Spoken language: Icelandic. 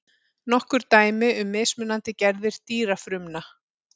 nokkur dæmi um mismunandi gerðir dýrafrumna